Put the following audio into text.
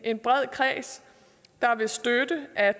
en bred kreds der vil støtte at